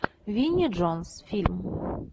винни джонс фильм